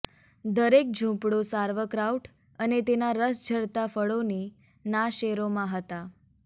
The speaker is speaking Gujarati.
દરેક ઝૂંપડું સાર્વક્રાઉટ અને તેનાં રસ ઝરતાં ફળોની ના શેરોમાં હતા